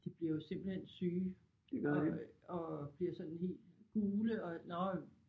De bliver jo simpelthen syge og og bliver sådan helt gule og nåh